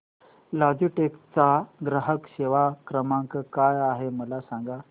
Logitech चा ग्राहक सेवा क्रमांक काय आहे मला सांगा